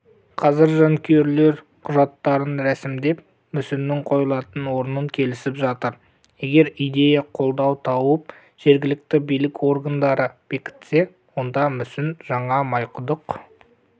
қазір жанкүйерлер құжаттарын ресімдеп мүсіннің қойылатын орнын келісіп жатыр егер идея қолдау тауып жергілікті билік органдары бекітсе онда мүсін жаңа майқұдық